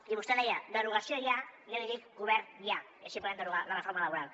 i vostè deia derogació ja i jo li dic govern ja i així podrem derogar la reforma laboral